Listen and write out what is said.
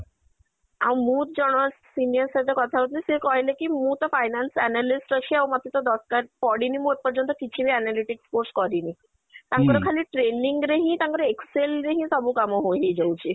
ଆଉ ମୁଁ ଜଣେ senior ସହିତ କଥା ହଉଥିଲି ସେ କହିଲେ କି ମୁଁ ତ finance analyst ଅଛି ଆଉ ମତେ ତ ଦରକାର ପଡିନି ମୁଁ ଏ ପର୍ଯ୍ୟନ୍ତ କିଛି ବି analytics course କରିନି ତାଙ୍କର ଖାଲି training ରେ ହିଁ ତାଙ୍କର excel ରେ ହିଁ ସବୁ କାମ ହୋ ହେଇ ଯାଉଛି